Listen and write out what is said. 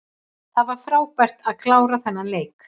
Það var frábært að klára þennan leik.